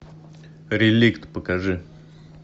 реликт покажи